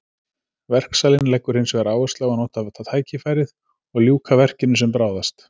Verksalinn leggur hinsvegar áherslu á að nota tækifærið og ljúka verkinu sem bráðast.